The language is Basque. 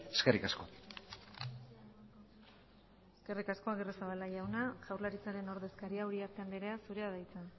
eskerrik asko eskerrik asko agirrezabala jauna jaurlaritzaren ordezkaria den uriarte andrea zurea da hitza